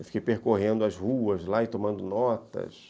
Eu fiquei percorrendo as ruas lá e tomando notas.